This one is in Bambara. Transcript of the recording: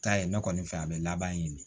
Taa ye ne kɔni fɛ yan a be laban ɲini de